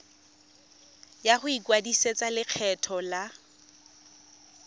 ya go ikwadisetsa lekgetho la